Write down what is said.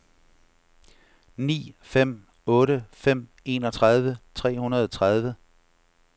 ni fem otte fem enogtredive tre hundrede og tredive